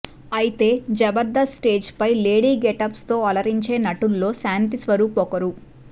అయితే జబర్దస్త్ స్టేజ్ పై lady getups తో అలరించే నటుల్లో శాంతిస్వరూప్ ఒకరు